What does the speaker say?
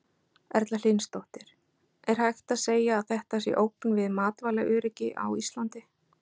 Erla Hlynsdóttir: Er hægt að segja að þetta sé ógn við matvælaöryggi á Íslandi?